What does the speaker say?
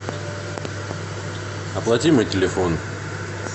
оплати мой телефон